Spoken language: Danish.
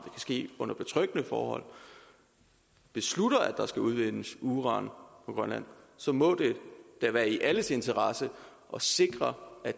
ske under betryggende forhold beslutter at der skal udvindes uran på grønland så må det da være i alles interesse at sikre at